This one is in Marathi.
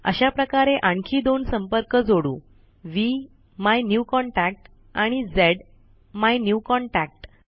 अशाप्रकारे आणखी दोन संपर्क जोडू व्हीम्युन्यूकॉन्टॅक्ट आणि झ्मायन्यूकॉन्टॅक्ट